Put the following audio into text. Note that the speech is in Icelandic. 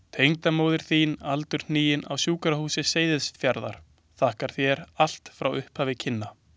Tengdamóðir þín aldurhnigin, á Sjúkrahúsi Seyðisfjarðar, þakkar þér allt frá upphafi kynna.